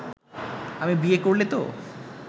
আমি বিয়ে করলে তো